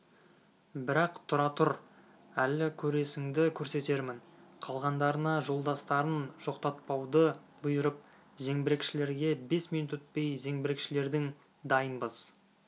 бірақ тұра тұр әлі көресіңді көрсетермін қалғандарына жолдастарын жоқтатпауды бұйырып зеңбірекшілерге бес минут өтпей зеңбірекшілердің дайынбыз